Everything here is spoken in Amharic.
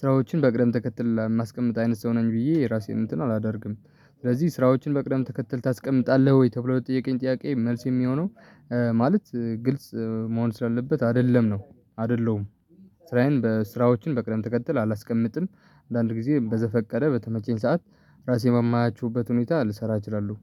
ስራዎችን በቅደም ተከትል ለማስቀመጥ አይነት ሰው ነኝ ብዬ ራሴን እንትን አላደርግም። ስለዚህ ስራዎችን በቅደም ተከተል ታስቀምጣለህ ወይ ተብሎ ለጠየቀኝ ጥያቄ መልስ የሚሆነው እ ማለት እ ግልጽ እ መሆን ስላለበት አይደለም ነው አደለሁም። ስራዬን በስራዎችን በቅደምተከተል አላስቀምጥም። አንዳንድ ጊዜ በዘፈቀደ በተመቸኝ ሰዓት ራሴ ባማያችሁበት ሁኔታ ልሰራ እችላለሁ